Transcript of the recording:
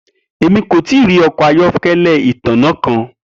Emi ko tii ri ọkọ ayọkẹlẹ itanna kan.